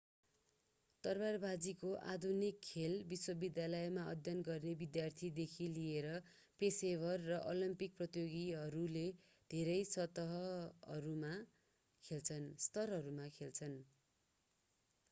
तरवारवाजीको आधुनिक खेल विश्वविद्यालयमा अध्ययन गर्ने विद्यार्थीदेखि लिएर पेशेवर र ओलम्पिक प्रतियोगीहरूले धेरै स्तरहरूमा खेल्छन्